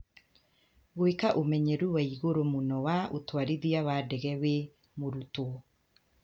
Gũĩka ũmenyeru wa igũrũ mũno wa ũtwarithia wa ndege wĩ mũrutwo.